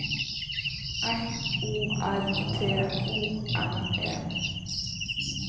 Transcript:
F O R T O N E